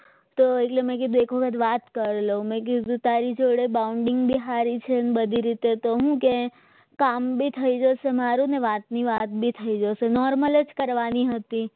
તો એટલે મેં કીધું એક વખત મિનિટ વાત કરતો મેં કીધું તારી જોડે બાઉન્ડીંગ હારી છે અને બધી રીતે તો હું કે કામ બી થઈ જશે મારું અને વાતની વાત થઈ જશે normal જ કરવાની હતી